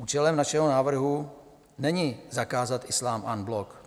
Účelem našeho návrhu není zakázat islám en bloc.